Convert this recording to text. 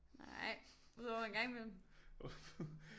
Nej udover en gang imellem